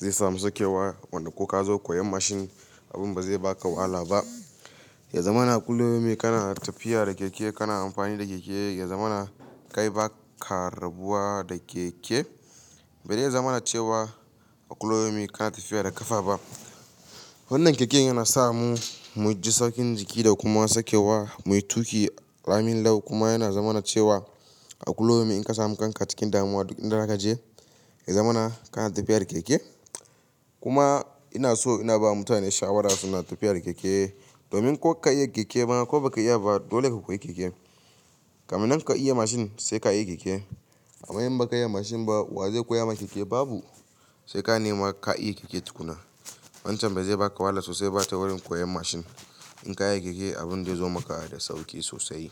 zai samu saukewa, wanda ko ka zo koyan mashin abun ba zai ba ka wahala ba. Ya zamana a kuliyomi ka na tafiya da keke ka na amfani da keke, ya zamana kay baka rabuwa da keke. Ba zai zamana cewa a kuliyomi ka na tafiya da ƙafa ba. Wannan keken yana sa mu mu ji saukin jiki da kuma saukewa, mu yi tuƙi ramin lau kuma yana zamana cewa a kuliyomin in ka samu kanka cikin damuwa duk inda za ka je ya zamana ka na tafiya da keke. Kuma ina so ina ba mutane shawara su na tafiya da keke domin ko ka iya keke bana ko ba ka iya ba dole ka koyi keke. Kaminnan ka iya mashin sai ka iya keke. Amma in ba ka iya mashin ba wa zai koya maka keke? Babu. Sai ka nemi ka iya keke tukuna. Wancan ba zai ba ka wahala sosai ba ta wurin koyan mashin. In ka iya keke abin zai zo maka da sauƙi sosai.